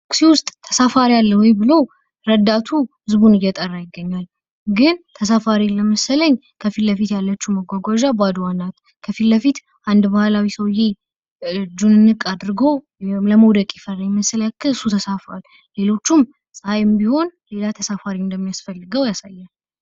ታክሲ ውስጥ ተሳፋሪ አለ ወይ ብሎ ረዳቱ ህዝቡን እየጠራ ይገኛል። ግን ተሳፋሪ የለም መሰለኝ ከፊት ለፊት ያለችው መጓጓዣ ባዶዋን ናት። ከፊት ለፊት አንድ ባህላዊ ሰውየ እጁን እንቅ አድርጎ ለመውደቅ ይፈልጋል። ሌሎቹም ጸሐይም ቢሆን ተሳፋሪ እንደሚያስፈልገው ያሳያል።